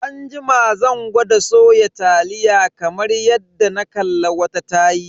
Anjima zan gwada soya taliya kamar yadda na kalla wata tayi.